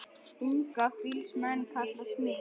Unga fýls menn kalla smið.